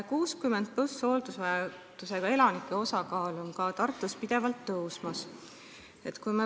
60-aastaste ja vanemate inimeste hooldusvajaduse osakaal on ka Tartus pidevalt tõusmas.